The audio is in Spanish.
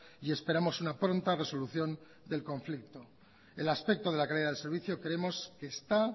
y esperamos una pronta resolución del conflicto el aspecto de la calidad del servicio creemos que está